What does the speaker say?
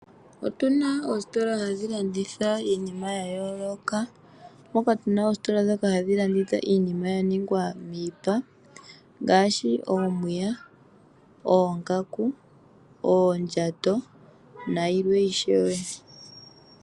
Otuna oositola ndhoka hadhi landitha iinima ya yooloka, moka tuna oositola hadhi landitha iinima ya ningwa miipa ngaashi omiya, oongaku, oondjato nayilwe ishewe.